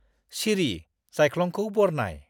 सिरि, जायख्लंखौ बरनाय।